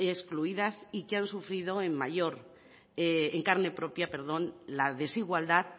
excluidas y que han sufrido en carne propia la desigualdad